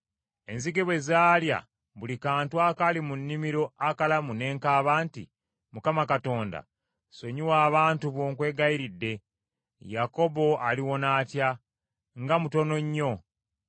Enzige bwe zaalya buli kantu akaali mu nnimiro akalamu, ne nkaaba nti, “ Mukama Katonda, sonyiwa abantu bo nkwegayiridde. Yakobo aliwona atya? Nga mutono nnyo.”